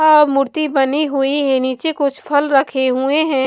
आ मूर्ति बनी हुई है नीचे कुछ फल रखे हुए हैं।